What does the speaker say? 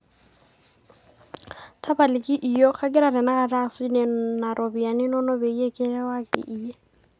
tapalaki iyiok ,kagira tenakata asuj nena ropiyani inono peyie kirewaki iyie